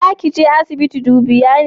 Za ki je asibiti dubiya ne?